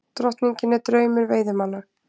Drottningin er draumur veiðimanna